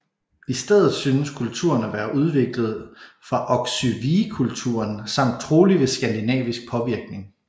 I stedet synes kulturen at være udviklet fra Oksywiekulturen samt trolig ved skandinavisk påvirkning